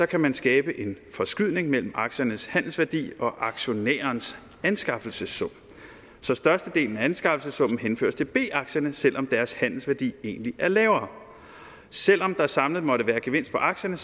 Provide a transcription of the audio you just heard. kan man skabe en forskydning mellem aktiernes handelsværdi og aktionærens anskaffelsessum så størstedelen af anskaffelsessummen henføres til b aktierne selv om deres handelsværdi egentlig er lavere selv om der samlet måtte være gevinst på aktierne